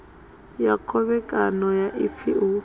ya khovhekano ya ifa hu